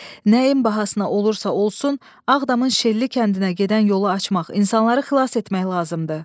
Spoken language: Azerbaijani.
Nəyin bahasına olursa olsun Ağdamın Şelli kəndinə gedən yolu açmaq, insanları xilas etmək lazımdır.